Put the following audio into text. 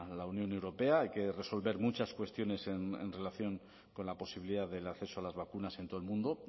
la unión europea hay que resolver muchas cuestiones en relación con la posibilidad del acceso a las vacunas en todo el mundo